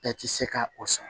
Bɛɛ ti se ka o sɔn